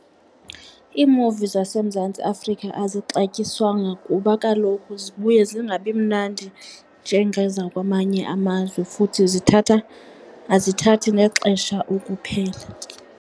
Iimuvi zaseMzantsi Afrika azixatywisanga kuba kaloku zibuye zingabi mnandi njengezakwamanye amazwe futhi zithatha, azithathi nexesha ukuphela.